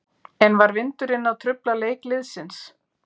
En var vindurinn að trufla leik liðsins?